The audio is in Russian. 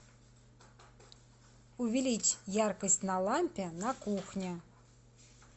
увеличь яркость на лампе на кухне